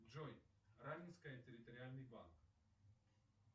джой раменское территориальный банк